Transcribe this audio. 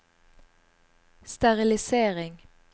sterilisering